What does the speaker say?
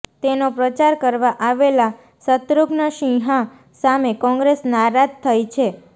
તેનો પ્રચાર કરવા આવેલા શત્રૂધ્ન સિંહા સામે કોંગ્રેસ નારાજ થઈ છે